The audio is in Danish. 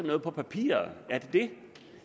noget på papiret